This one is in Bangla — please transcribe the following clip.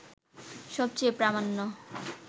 সবচেয়ে প্রামাণ্য